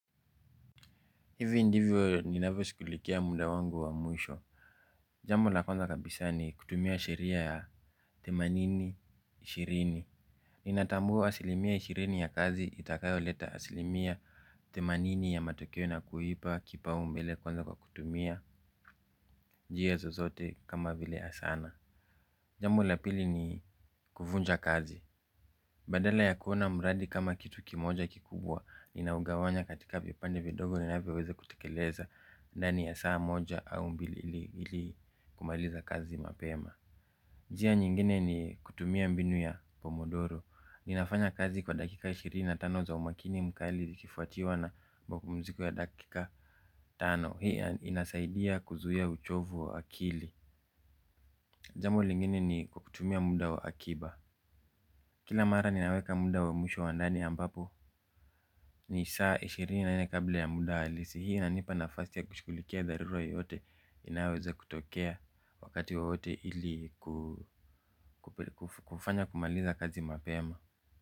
Hivi ndivyo ninavyoshugulikia muda wangu wa mwisho. Jambo la kwanza kabisa ni kutumia sheria ya themanini, ishirini. Ninatambua asilimia ishirini ya kazi itakayoleta asilimia themanini ya matokeo na kuipa kipaumbele kwanza kwa kutumia njia zozote kama vile asana. Jambo la pili ni kuvunja kazi. Badala ya kuona mradi kama kitu kimoja kikubwa, ninaugawanya katika vipande vidogo ninavyoweza kutekeleza ndani ya saa moja au mbili ili kumaliza kazi mapema. Njia nyingine ni kutumia mbinu ya pomodoro. Ninafanya kazi kwa dakika ishirini na tano za umakini mkali likifuatiwa na mapumziko ya dakika tano. Hii inasaidia kuzuia uchovu wa akili. Jambo lingine ni kutumia muda wa akiba. Kila mara ninaweka muda wa mwisho wa ndani ambapo ni saa ishirini na nne kabla ya muda halisi hii inanipa nafasi ya kushugulikia dharura yote inavyoweza kutokea wakati wowote ili kufanya kumaliza kazi mapema.